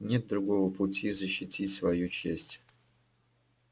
нет другого пути защитить свою честь